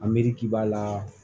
Amriki b'a la